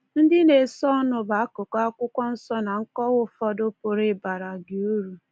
Ndị na-esonụ bụ akụkụ Akwụkwọ Nsọ na nkọwa ụfọdụ pụrụ ịbara gị uru